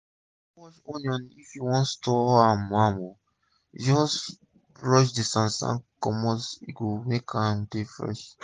no wash onions if u wan store am am o just brush d sand sand comot e go make am dey fresh